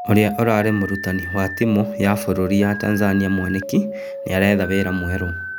Ũrĩa warĩ mũrutani wa timu ya bũrũri ya Tanzania Mwaniki nĩaretha wĩra mwerũ.